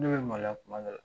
Ne be maloya kuma dɔ la.